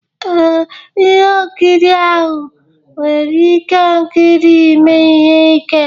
Ee, ihe nkiri ahụ nwere ihe nkiri ime ihe ike